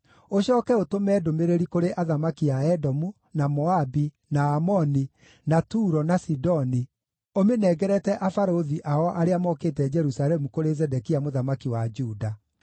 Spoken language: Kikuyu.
Ũcooke ũtũme ndũmĩrĩri kũrĩ athamaki a Edomu, na Moabi, na Amoni, na Turo na Sidoni ũmĩnengerete abarũthi ao arĩa mokĩte Jerusalemu kũrĩ Zedekia mũthamaki wa Juda.